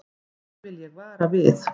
Því vil ég vara við.